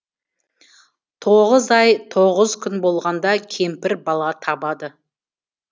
тоғыз ай тоғыз күн болғанда кемпір бала табады